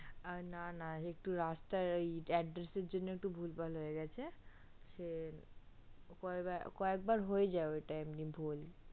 না না একটু রাস্তায় address এ র জন্য একটু ভুল ভাল হয়ে গেছে সে কয়েক বার হয়ে যাই এমনিতেই ভুল